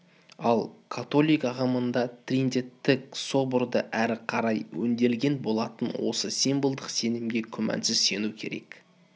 ал католик ағымында триденттік соборда әрі қарай өңделген болатын осы символдық сенімге күмәнсіз сену керек